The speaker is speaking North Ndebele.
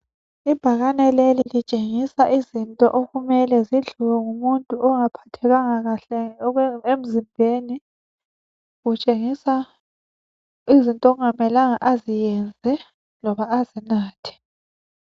Ibhakane leli litshengisa izinto okumele zidliwe ngumuntu ongaphathekanga kahle emzimbeni. Kutshengisa izinto okungamelanga aziyenze loba azinathe